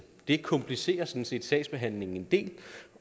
det komplicerer sådan set sagsbehandlingen en del